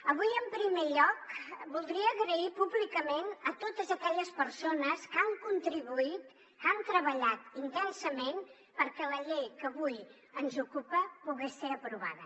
avui en primer lloc voldria donar les gràcies públicament a totes aquelles persones que han contribuït que han treballat intensament perquè la llei que avui ens ocupa pogués ser aprovada